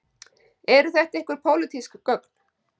Eru þetta einhver pólitísk gögn